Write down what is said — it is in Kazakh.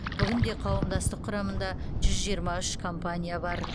бүгінде қауымдастық құрамында жүз жиырма үш компания бар